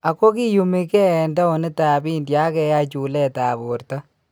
Ako kiyumii kee en towunitab India ak keyai chuleetab borto